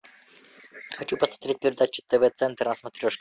хочу посмотреть передачу тв центр на смотрешке